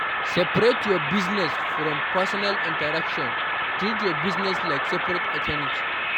Seperate your business from personal interaction, treat your business like separate entity